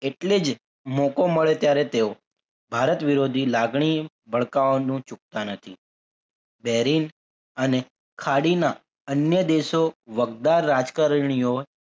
એટલે જ મોકો મળે ત્યારે તેઓ ભારત વિરોધી લાગણી ભડકાવાનું ચૂકતા નથી બેરીન અને ખાડીના અન્ય દેશો વગડા રાજકારણીઓ